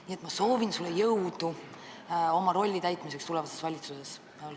Nii et ma soovin sulle jõudu oma rolli täitmiseks tulevases valitsuses.